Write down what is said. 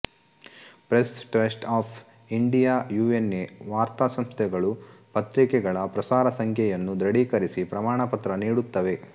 press Trust of India UNI ವಾರ್ತಾಸಂಸ್ಥೆಗಳು ಪತ್ರಿಕೆಗಳ ಪ್ರಸಾರಸಂಖ್ಯೆಯನ್ನು ದೃಢೀಕರಿಸಿ ಪ್ರಮಾಣ ಪತ್ರ ನೀಡುತ್ತವೆ